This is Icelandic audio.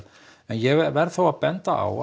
en ég verð þó að benda á